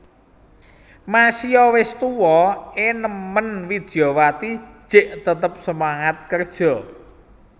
Masio wes tuwa e nemen Widyawati jek tetep semangat kerja